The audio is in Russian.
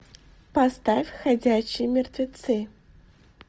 поставь ходячие мертвецы